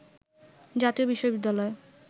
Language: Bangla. জাতীয় বিশ্ববিদ্যালয়